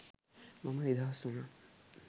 මම නිදහස් වුණා